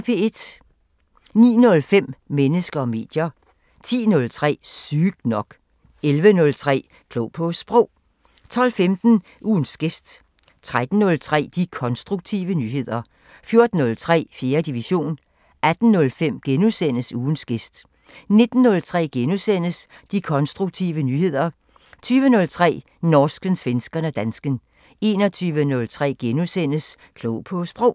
09:05: Mennesker og medier 10:03: Sygt nok 11:03: Klog på Sprog 12:15: Ugens gæst 13:03: De konstruktive nyheder 14:03: 4. division 18:05: Ugens gæst * 19:03: De konstruktive nyheder * 20:03: Norsken, svensken og dansken 21:03: Klog på Sprog *